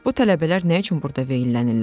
Bəs bu tələbələr nə üçün burda veyllənirlər?